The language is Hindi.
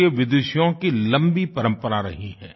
भारतीय विदुषियों की लम्बी परम्परा रही है